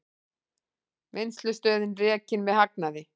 Vinnslustöðin rekin með hagnaði